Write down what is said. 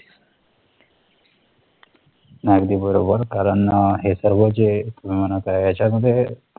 अगदी बरोबर कारण हे सर्व जे तुम्ही म्हणत आहे याच्यामध्ये